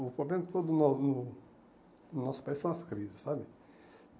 O problema todo no no nosso país são as crises, sabe?